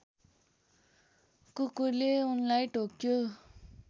कुकुरले उनलाई टोक्यो